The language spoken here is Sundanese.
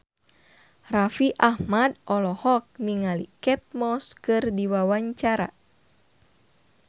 Raffi Ahmad olohok ningali Kate Moss keur diwawancara